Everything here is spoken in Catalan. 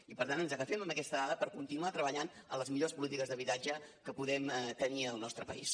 i per tant ens agafem a aquesta dada per continuar treballant en les millors polítiques d’habitatge que podem tenir al nostre país